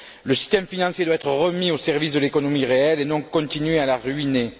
Le système financier doit être remis au service de l'économie réelle et non continuer à la ruiner.